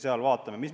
Siis vaatame.